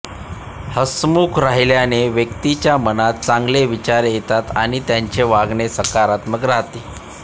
हसमुख राहिल्याने व्यक्तीच्या मनात चांगले विचार येतात आणि त्याचे वागणे सकारात्मक राहते